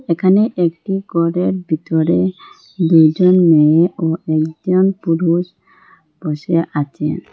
এখানে একটি গরের ভিতরে দুইজন মেয়ে ও একজন পুরুষ বসে আচে।